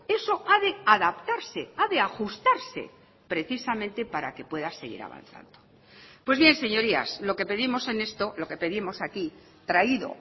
eso ha de adaptarse ha de ajustarse precisamente para que pueda seguir avanzando pues bien señorías lo que pedimos en esto lo que pedimos aquí traído